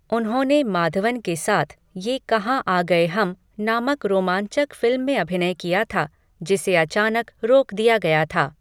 उन्होंने माधवन के साथ 'ये कहाँ आ गए हम' नामक रोमांचक फिल्म में अभिनय किया था जिसे अचानक रोक दिया गया था।